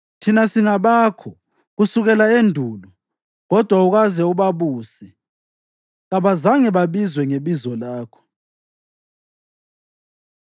Thina singabakho kusukela endulo; kodwa awukaze ubabuse, kabazange babizwe ngebizo lakho.